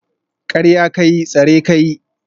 Karya ka yi, tsare ka yi